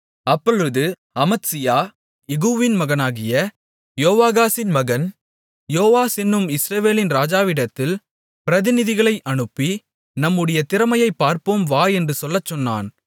அப்பொழுது அமத்சியா யெகூவின் மகனாகிய யோவாகாசின் மகன் யோவாஸ் என்னும் இஸ்ரவேலின் ராஜாவிடத்தில் பிரதிநிதிகளை அனுப்பி நம்முடைய திறமையைப் பார்ப்போம் வா என்று சொல்லச் சொன்னான்